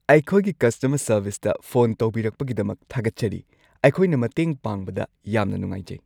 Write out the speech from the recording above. ꯑꯩꯈꯣꯏꯒꯤ ꯀꯁꯇꯃꯔ ꯁꯔꯚꯤꯁꯇ ꯐꯣꯟ ꯇꯧꯕꯤꯔꯛꯄꯒꯤꯗꯃꯛ ꯊꯥꯒꯠꯆꯔꯤ꯫ ꯑꯩꯈꯣꯏꯅ ꯃꯇꯦꯡ ꯄꯥꯡꯕꯗ ꯌꯥꯝꯅ ꯅꯨꯡꯉꯥꯏꯖꯩ꯫